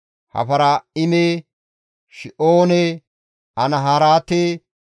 Hafara7ime, Shi7oone, Anaharaate,